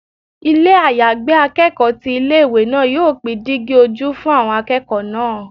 Ilé àyágbé akẹ́kọ̀ọ́ ti ilé ìwé náà yóò pín dígí ojú fún àwọn akẹ́kọ̀ọ́ náà.